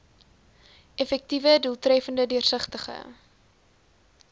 effektiewe doeltreffende deursigtige